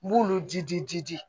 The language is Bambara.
N b'olu ji di jidi